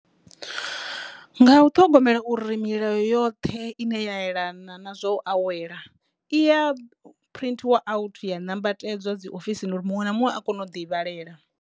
Nga u ṱhogomela uri milayo yoṱhe ine ya yelana na zwa u awela iya printhiwa out ya nambatedzwa dzi ofisini uri muṅwe na muṅwe a kone u ḓi vhalela.